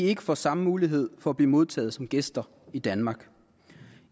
ikke får samme mulighed for at blive modtaget som gæster i danmark